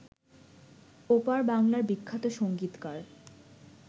ওপার বাংলার বিখ্যাত সংগীতকার